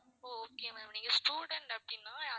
ஓ okay ma'am நீங்க student அப்படின்னா